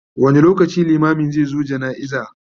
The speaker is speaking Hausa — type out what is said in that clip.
wani lokaci limamin zai zo jana'iza?